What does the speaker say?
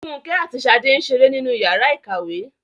Fúnkẹ́ àti Ṣadé ń ṣeré nínú ìyàrá-ìkàwé.